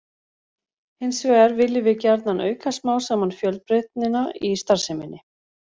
Hins vegar viljum við gjarnan auka smám saman fjölbreytnina í starfseminni.